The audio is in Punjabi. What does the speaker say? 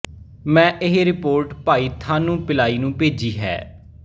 ਮੈਂ ਇਹ ਰਿਪੋਰਟ ਭਾਈ ਥਾਨੂ ਪਿਲਾਈ ਨੂੰ ਭੇਜੀ ਹੈ